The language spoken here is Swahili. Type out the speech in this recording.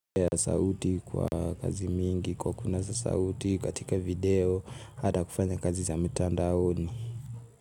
Ya sauti kwa kazi mingi kwa kunasa sauti katika video baada ya kufanya kazi ya mtanda oni.